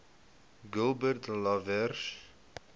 gilbert lawrence